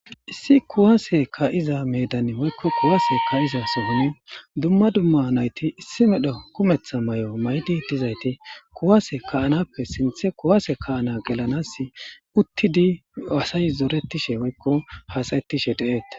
Issi kuwase ka'iza meedan woyko kuwase ka'iza sohon duma duma nayti issi medho kumetha Mayo mayidi dizayti kuwase ka'anappe sinthe kuwase ka'ana gelanasi uttidi asay zoretishe woyko hasa'ishe de'etees.